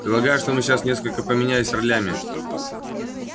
предлагаю что сейчас мы несколько поменялись ролями